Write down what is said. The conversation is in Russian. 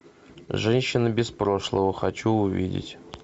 женщина без прошлого хочу увидеть